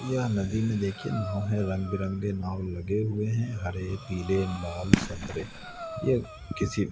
यह नदी में देखिए नाव है रंग बिरंगे नाव लगे हुए हैं हरे पीले लाल संतरे ये किसी--